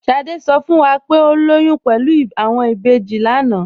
Sádé sọ fún wá pé o lóyún pẹ̀lú awọn ìbéjì lánà.